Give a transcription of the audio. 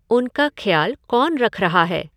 उनका ख्याल कौन रख रहा है?